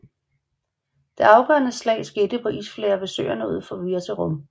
Det afgørende slag skete på isflager ved søerne ud for Virserum